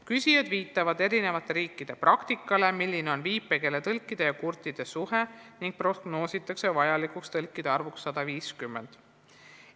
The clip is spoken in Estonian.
Küsijad viitavad eri riikide praktikale, milline on viipekeeletõlkide ja kurtide inimeste suhe, ning prognoositakse vajalikuks tõlkide arvuks 150.